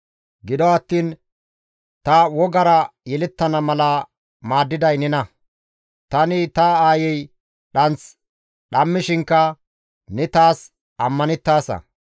Gido attiin ta wogara yelettana mala maaddiday nena; tani ta aayi dhanth dhammishinkka ne taas ammanettaasa.